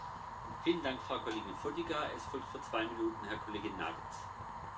Señor presidente, Georgia es el país más prometedor del Cáucaso.